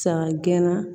San gɛnna